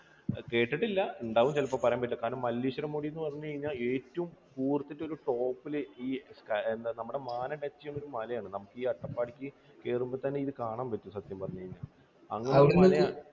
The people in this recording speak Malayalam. കേട്ടിട്ടില്ല. ഉണ്ടാകും ചിലപ്പോൾ കാരണം പറയാൻ പറ്റില്ല. കാരണം മല്ലേശ്വരം മുടി എന്ന് പറഞ്ഞു കഴിഞ്ഞാൽ ഏറ്റവും കൂർത്തിട്ട് ഒരു top ൽ ഈ എന്താ നമ്മുടെ മാനം touch ചെയ്യുന്ന ഒരു മലയാണ് നമുക്ക് ഈ അട്ടപ്പാടിക്ക് കേറുമ്പോൾ തന്നെ ഇത് കാണാൻ പറ്റും സത്യം പറഞ്ഞു കഴിഞ്ഞാൽ.